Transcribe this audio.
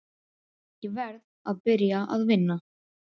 Ég verð að byrja að vinna.